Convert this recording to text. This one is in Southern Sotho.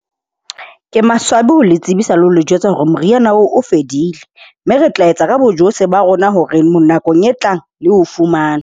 Ke maswabi ho le tsebisa le ho le jwetsa hore moriana oo o fedile. Mme re tla etsa ka bojohle ba rona hore, nakong e tlang, le o fumane.